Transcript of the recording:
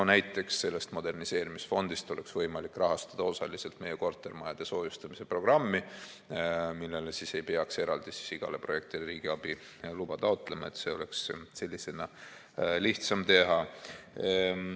No näiteks sellest moderniseerimisfondist oleks võimalik rahastada osaliselt meie kortermajade soojustamise programmi ning ei peaks eraldi igale projektile riigiabi luba taotlema, seda oleks niimoodi lihtsam teha.